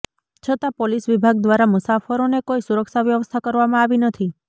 છતાં પોલીસ વિભાગ દ્વારા મુસાફરોને કોઈ સુરક્ષા વ્યવસ્થા કરવામાં આવી નથી